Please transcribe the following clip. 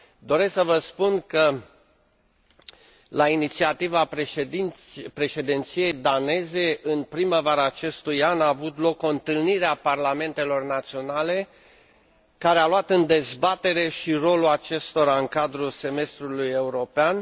Doresc să vă spun că, la inițiativa președinției daneze, în primăvara acestui an a avut loc o întâlnire a parlamentelor naționale, care a luat în dezbatere și rolul acestora în cadrul semestrului european.